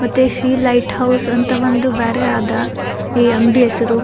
ಮತ್ತೆ ಶಿ light house ಅಂತ ಒಂದು ಬ್ಯಾರೆ ಅದ ಈ ಅಂಗಡಿ ಹೆಸರು.